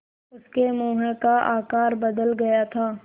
उसके मुँह का आकार बदल गया था